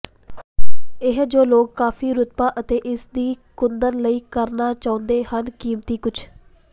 ਇਹ ਜੋ ਲੋਕ ਕਾਫ਼ੀ ਰੁਤਬਾ ਅਤੇ ਇਸ ਦੀ ਕੁੰਦਨ ਲਾਈ ਕਰਨਾ ਚਾਹੁੰਦੇ ਹਨ ਕੀਮਤੀ ਕੁਝ